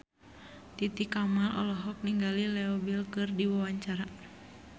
Titi Kamal olohok ningali Leo Bill keur diwawancara